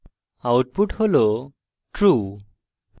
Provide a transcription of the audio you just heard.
output হল true